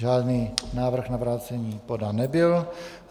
Žádný návrh na vrácení podán nebyl.